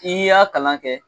N'i y'a kalan kɛ